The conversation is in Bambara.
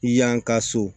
Yan ka so